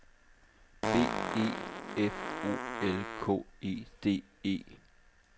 B E F O L K E D E